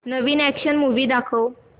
नवीन action movie दाखव